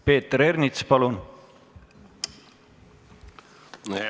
Peeter Ernits, palun!